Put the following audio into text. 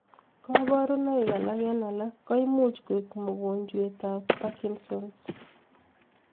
Kaparunaik alak en'g alak koimuch koek mugonjwet ab parkinson's